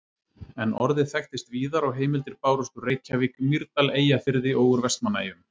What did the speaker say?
En orðið þekktist víðar og heimildir bárust úr Reykjavík, Mýrdal, Eyjafirði og úr Vestmannaeyjum.